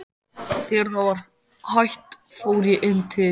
Þegar það var hætt fór ég inn til